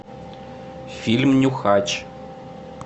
фильм нюхач